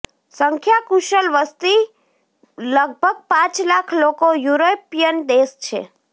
સંખ્યા કુશલ વસ્તી લગભગ પાંચ લાખ લોકો યુરોપિયન દેશ છે